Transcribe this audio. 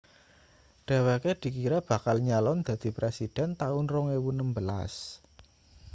dheweke dikira bakal nyalon dadi presiden taun 2016